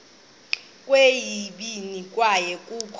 kweyesibini kwaye kukho